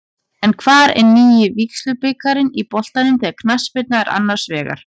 En hvar er nýi vígslubiskupinn í boltanum þegar knattspyrna er annars vegar?